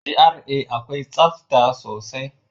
GRA akwai tsafta sosai.